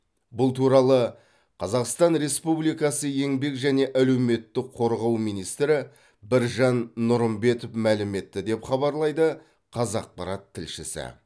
бұл туралы қазақстан республикасы еңбек және әлеуметтік қорғау министрі біржан нұрымбетов мәлім етті деп хабарлайды қазақпарат тілшісі